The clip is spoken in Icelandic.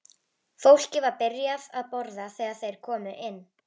Fólkið var byrjað að borða þegar þeir komu inn.